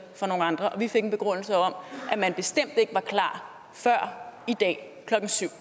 for nogle andre og vi fik en begrundelse om at man bestemt ikke var klar før i dag klokken syv